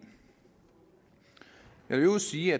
øvrigt sige